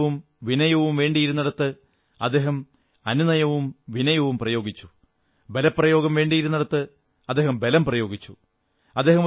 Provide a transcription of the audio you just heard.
അനുനയവും വിനയവും വേണ്ടിയിരുന്നിടത്ത് അദ്ദേഹം അനുനയവും വിനയവും പ്രയോഗിച്ചു ബലപ്രയോഗം വേണ്ടിയിരുന്നിടത്ത് അദ്ദേഹം ബലം പ്രയോഗിച്ചു